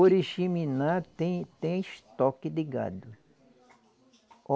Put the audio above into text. Oriximiná tem tem estoque de gado.